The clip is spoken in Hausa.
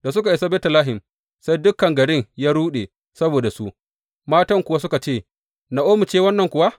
Da suka isa Betlehem, sai dukan garin ya ruɗe saboda su, matan kuwa suka ce, Na’omi ce wannan kuwa?